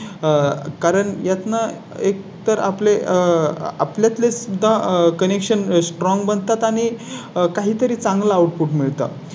कारण यातून एक तर आपले आपल्या प्ले सुद्धा connection strong बनतात आणि काही तरी चांगलं Output मिळतात